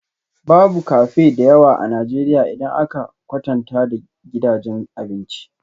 Babu cafe da yawa a Najeriya idan aka kwatanta da gidajen abinci